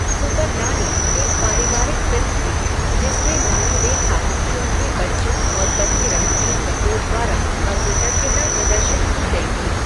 Super Nani एक पारिवारिक film थी, जिसमें नानी रेखा की उनके बच्चों और पति रणधीर कपूर द्वारा अकृतज्ञता प्रदर्शित की गई थी।